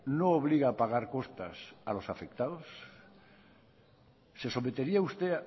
no obliga a pagar costas a los afectados se sometería usted